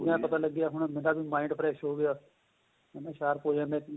ਪਤਾ ਲੱਗਿਆ ਹੋਣਾ ਮੇਰਾ ਵੀ mind fresh ਹੋਗਿਆ ਹੈਨਾ sharp ਹੋ ਜਾਂਦਾ ਏ